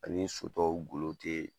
Ani so tɔw golo te